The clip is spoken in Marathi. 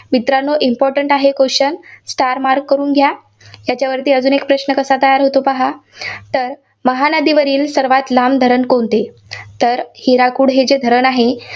मित्रांनो important आहे questionstar mark करून घ्या. याच्यावरती अजून एक प्रश्न कसा तयार होतो ते पाहा. तर महानदीवरील सर्वांत लांब धरण कोणते? तर हिराकूड हे जे धरण आहे,